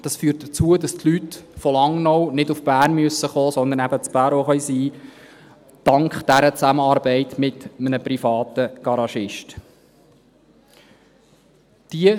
Das führt dazu, dass die Leute aus Langnau nicht nach Bern kommen müssen, sondern eben dank dieser Zusammenarbeit mit einem privaten Garagisten in Bärau sein können.